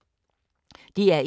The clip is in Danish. DR1